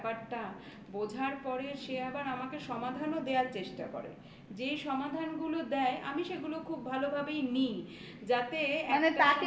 বোঝার পরে সে আবার আমাকে সমাধানও দেওয়ার চেষ্টা করে. যেই সমাধান গুলো দেয় আমি সেগুলো খুব ভালোভাবেই নি যাতে